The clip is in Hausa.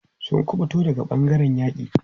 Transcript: Sun ƙubuta daga ɓangaren yaƙi.